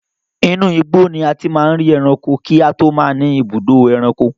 Inú igbó ni a ti máa ń ri ẹranko kí a tó máa ní ibùdó ẹranko.